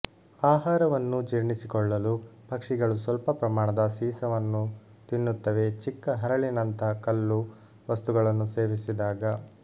ಆಹಾರವನ್ನು ಜೀರ್ಣಿಸಿಕೊಳ್ಳಲು ಪಕ್ಷಿಗಳು ಸ್ವಲ್ಪ ಪ್ರಮಾಣದ ಸೀಸವನ್ನು ತಿನ್ನುತ್ತವೆಚಿಕ್ಕ ಹರಳಿನಂತಹಕಲ್ಲು ವಸ್ತುಗಳನ್ನು ಸೇವಿಸಿದಾಗ